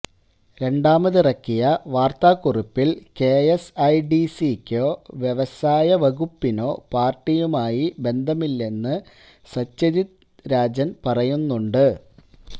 രണ്ടാമതിറക്കിയ വാർത്താക്കുറിപ്പിൽ കെഎസ്ഐഡിസിക്കോ വ്യവസായ വകുപ്പിനോ പാർട്ടിയുമായി ബന്ധമില്ലെന്ന് സത്യജിത് രാജൻ പറയുന്നുണ്ട്